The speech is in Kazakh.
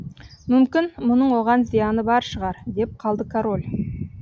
мүмкін мұның оған зияны бар шығар деп қалды король